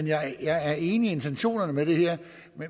jeg er enig i intentionerne med det her